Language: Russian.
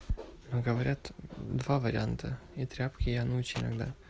говорят два варианта и тряпки я ночь иногда